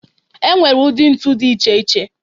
E nwere ụdị ntu dị iche iche.